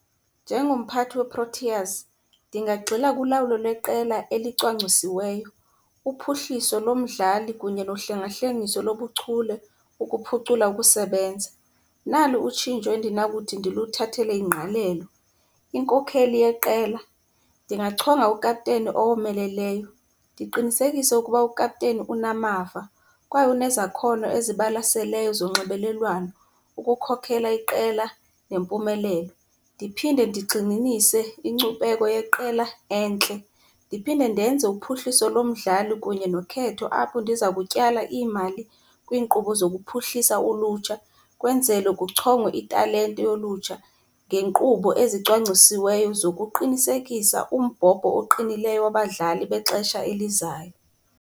Njengomphathi weProteas ndingagxila kulawulo leqela elicwangcisiweyo, uphuhliso lomdlali kunye nohlengahlengiso lobuchule ukuphucula ukusebenza. Nali utshintsho endinakuthi ndiluthathele ingqalelo, inkokheli yeqela. Ndingachonga ukapteni owomeleleyo. Ndiqinisekise ukuba ukapteni unamava kwaye unezakhono ezibalaseleyo zonxibelelwano ukukhokhela iqela nempumelelo. Ndiphinde ndigxininise inkcubeko yeqela entle. Ndiphinde ndenze uphuhliso lomdlali kunye nokhetho apho ndiza kutyala iimali kwinkqubo zokuphuhlisa ulutsha kwenzele kuchongwe italente yolutsha ngeenkqubo ezicwangcisiweyo zokuqinisekisa umbhobho oqinileyo wabadlali bexesha elizayo.